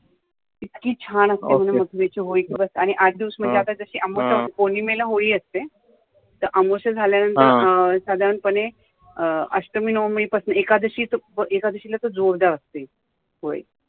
इतकी छान असते ने मथुरेची होळी की बस आठ दिवस म्हणजे आता पौर्णिमेची होळी असते तर अमवस्या झाल्या नंतर सधारणपणे अष्टमी नवमी पासन एकादशी ला जोर द्याव लगते होळी